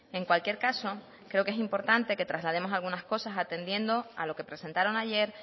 en cualquier caso creo que es importante que traslademos algunas cosas atendiendo a lo que presentaron ayer